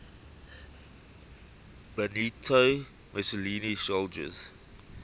benito mussolini's soldiers